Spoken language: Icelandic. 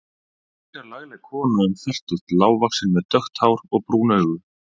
Frekar lagleg kona um fertugt, lágvaxin með dökkt hár og brún augu.